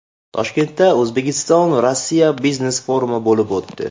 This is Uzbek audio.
Toshkentda O‘zbekistonRossiya biznes-forumi bo‘lib o‘tdi.